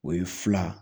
O ye fila